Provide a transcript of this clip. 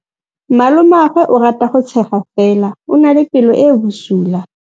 Malomagwe o rata go tshega fela o na le pelo e e bosula.